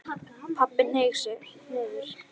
Pabbi hneig niður.